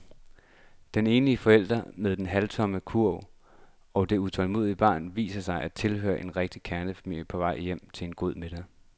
Den enlige forælder med den halvtomme kurv og det utålmodige barn viser sig at tilhøre en rigtig kernefamilie på vej hjem til en god middag.